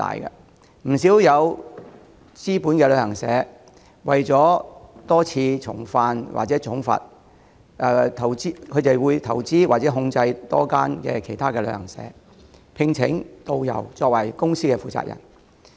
不少具備資本的旅行社，為免多次重犯而被重罰，會投資開設多間旅行社，聘請導遊作為公司負責人。